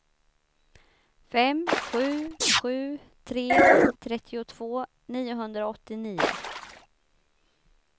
fem sju sju tre trettiotvå niohundraåttionio